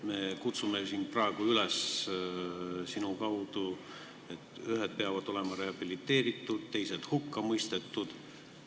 Me kutsume ju siin sinu kaudu praegu üles, et ühed peavad olema rehabiliteeritud, teised hukka mõistetud.